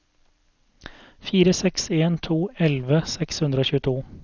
fire seks en to elleve seks hundre og tjueto